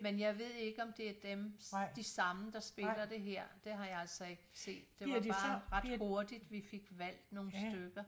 Men jeg ved ikke om det er dem de samme der spiller her det har jeg altså ikke set det var bare ret hurtigt vi fik valgt nogen stykker